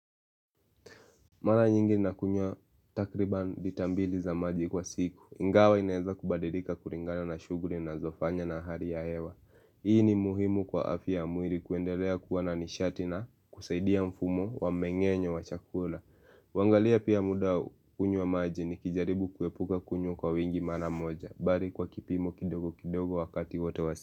Mara nyingi nakunywa takriba litambili za maji kwa siku. Ingawa inaeza kubadilika kulingana na shughuli ninazofanya na hali ya hewa. Hii ni muhimu kwa afya ya mwili kuendelea kuwa na nishati na kusaidia mfumo wa mmengenyo wa chakula. Kuangalia pia muda wa kunywa maji nikijaribu kuepuka kunywa kwa wingi mara moja. Bali kwa kipimo kidogo kidogo wakati wote wa siku.